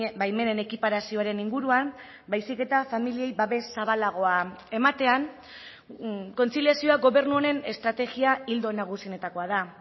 baimenen ekiparazioaren inguruan baizik eta familiei babes zabalagoa ematean kontziliazioa gobernu honen estrategia ildo nagusienetakoa da